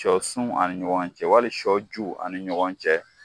Sɔ sun ani ɲɔgɔn cɛ wali sɔ ju ani ɲɔgɔn cɛ.